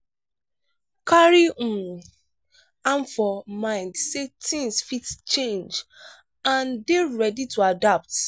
carry um am for mind sey things fit change and dey ready to adapt